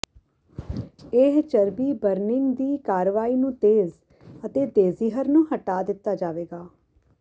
ਇਹ ਚਰਬੀ ਬਰਨਿੰਗ ਦੀ ਕਾਰਵਾਈ ਨੂੰ ਤੇਜ਼ ਅਤੇ ਦੇਜ਼ਿਹਰ ਨੂੰ ਹਟਾ ਦਿੱਤਾ ਜਾਵੇਗਾ